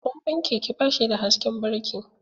Tsohon keke ba shi da hasken birki.